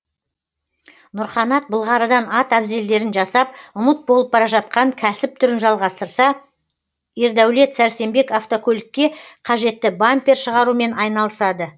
нұрқанат былғарыдан ат әбзелдерін жасап ұмыт болып бара жатқан кәсіп түрін жжалғастырса ердәулет сәрсенбек автокөлікке қажетті бампер шығарумен айналысады